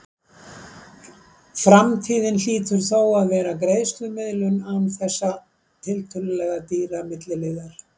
Framtíðin hlýtur þó að vera greiðslumiðlun án þessa tiltölulega dýra milliliðar.